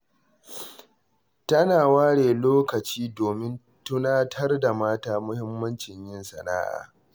Tana ware lokaci domin tunatar da mata muhimmancin yin sana'a.